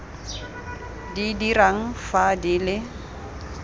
di dirang fa di le